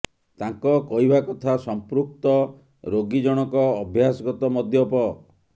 ତାଙ୍କ କହିବା କଥା ସଂପୃକ୍ତ ରୋଗୀ ଜଣକ ଅଭ୍ୟାସଗତ ମଦ୍ୟପ